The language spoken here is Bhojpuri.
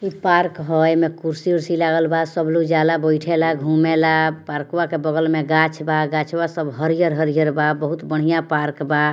इ पार्क हेय एमे कुर्सी उर्सी लागल बा सब लोग जाला बैठेला घूमेला पार्कवा के बगल में गाछ बा गछवा सब हरियर-हरियर बा बहुत बढ़िया पार्क बा।